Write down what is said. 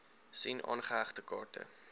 sien aangehegte kaarte